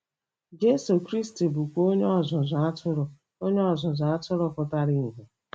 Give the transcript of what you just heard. Jesu Kristi bụkwa Onye Ọzụzụ Atụrụ Onye Ọzụzụ Atụrụ pụtara ìhè.